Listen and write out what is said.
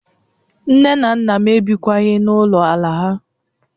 Nne na nna m ebikwaghị na Ulo ala ha